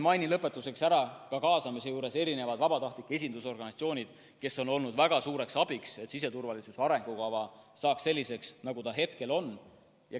Lõpetuseks mainin kaasamise juures ära ka vabatahtlike esindusorganisatsioonid, kes on olnud väga suureks abiks, et siseturvalisuse arengukava saaks selliseks, nagu ta hetkel on.